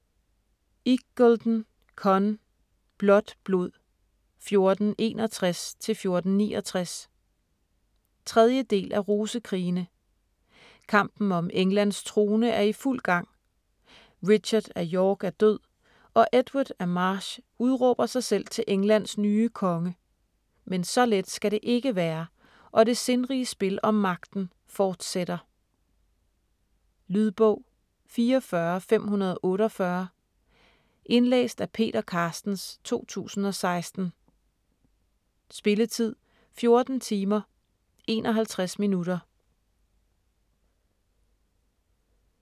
Iggulden, Conn: Blåt blod: 1461-1469 3. del af Rosekrigene. Kampen om Englands trone er i fuld gang. Richard af York er død, og Edward af March udråber sig selv til Englands nye konge. Men så let skal det ikke være, og det sindrige spil om magten fortsætter. Lydbog 44548 Indlæst af Peter Carstens, 2016. Spilletid: 14 timer, 51 minutter.